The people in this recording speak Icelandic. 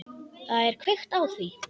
Það er kveikt á því.